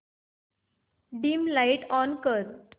dim light on कर